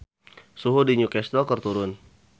Suhu di New Castle keur turun